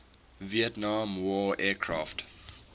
vietnam war aircraft